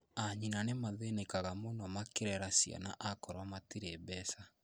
Anyina nĩmathĩnĩkaga muno makĩirera ciana akorwo matirĩ mbeca